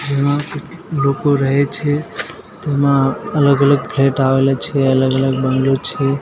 લોકો રહે છે તેમાં અલગ અલગ ફ્લેટ આવેલા છે અલગ અલગ બંગલો છે.